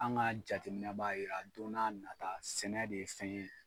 An ka jateminɛ b'a jira don n'a nata sɛnɛ de ye fɛn ye